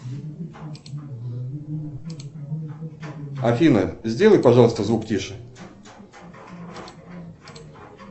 афина сделай пожалуйста звук тише